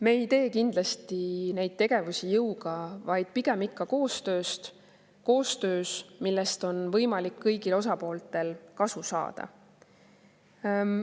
Me ei tee kindlasti neid tegevusi jõuga, vaid pigem ikka koostöös, millest on võimalik kõigil osapooltel kasu saada.